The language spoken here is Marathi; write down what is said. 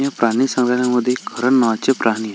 या प्राणी संग्रलायामध्ये एक हरण नावाचे प्राणी आहे.